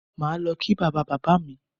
Màá lọ kí bàbá bàbá mi